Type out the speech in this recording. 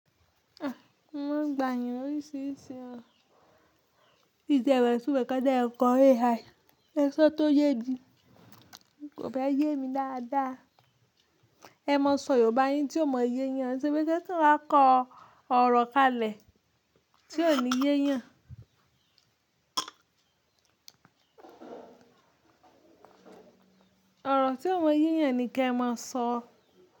Mo maa n gbà eyàn oríṣiríṣi. Mi ti e mo itumo nkan ti e ko AI. Ẹ̀ṣọ́ tó yé mí kò fẹ́ yé mi dáadáa. Ẹ má sọ Yorùbá yín tí o mọ yé yàn ke ṣe pé kí ẹ kan wà kọ ọ̀rọ̀ kalẹ̀ tí ó ní yé yàn. Ọ̀rọ̀ tí ó mọ yé yàn ni kí ẹ má sọ.